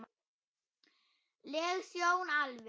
leg sjón alveg.